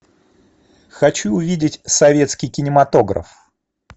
хочу увидеть советский кинематограф